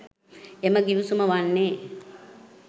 එම ගිවිසුම වන්නේ